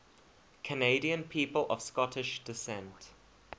canadian people of scottish descent